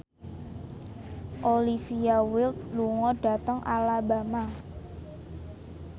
Olivia Wilde lunga dhateng Alabama